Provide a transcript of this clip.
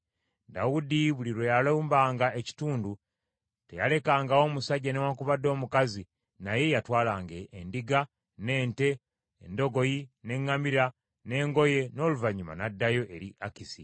Dawudi buli lwe yalumbanga ekitundu, teyalekangawo musajja newaakubadde omukazi, naye yatwalanga endiga, n’ente, endogoyi n’eŋŋamira, n’engoye; n’oluvannyuma n’addayo eri Akisi.